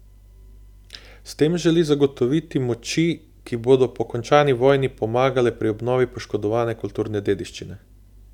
S tem želi zagotoviti moči, ki bodo po končani vojni pomagale pri obnovi poškodovane kulturne dediščine.